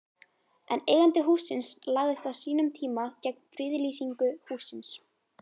En eigandi hússins lagðist á sínum tíma gegn friðlýsingu hússins?